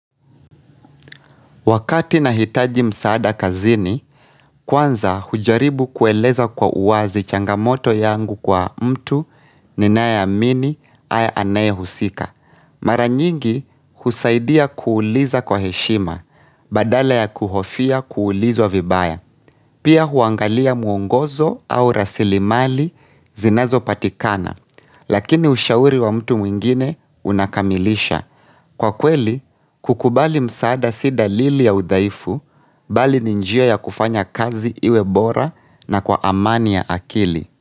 Wakati nahitaji msaada kazini, kwanza hujaribu kueleza kwa uwazi changamoto yangu kwa mtu ninayeamini aya anaye husika. Mara nyingi husaidia kuuliza kwa heshima, badala ya kuhofia kuulizwa vibaya. Pia huangalia mwongozo au rasilimali zinazopatikana, lakini ushauri wa mtu mwingine unakamilisha. Kwa kweli, kukubali msaada si dalili ya udhaifu, bali ni njia ya kufanya kazi iwe bora na kwa amani ya akili.